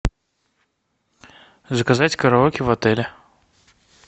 заказать караоке в отеле